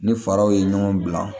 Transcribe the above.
Ni faraw ye ɲɔgɔn bila